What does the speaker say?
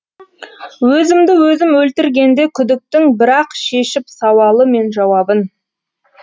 өзімді өзім өлтіргенде күдіктің бірақ шешіп сауалы мен жауабын